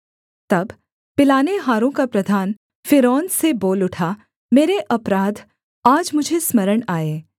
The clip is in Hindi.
तब पिलानेहारों का प्रधान फ़िरौन से बोल उठा मेरे अपराध आज मुझे स्मरण आए